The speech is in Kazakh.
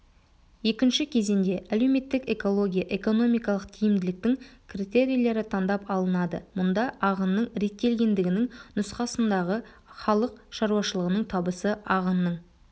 екінші кезеңде әлеуметтік-экология-экономикалық тиімділіктің критерийлері таңдап алынады мұнда ағынның реттелгендігінің нұсқасындағы халық шаруашылығының табысы ағынның